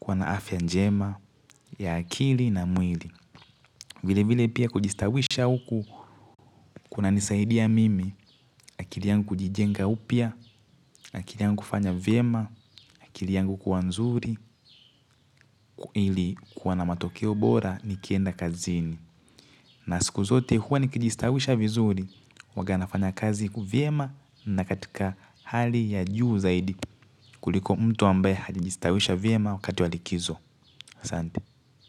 kuwa na afya njema ya akili na mwili vile vile pia kujistawisha huku kunanisaidia mimi akili yangu kujijenga upya akili yangu kufanya vyema akili yangu kuwa nzuri ili kuwa na matokeo bora nikienda kazini na siku zote huwa nikijistawisha vizuri huwaga nafanya kazi vyema na katika hali ya juu zaidi. Kuliko mtu ambaye hajajistawisha vyema wakati wa likizo aSante.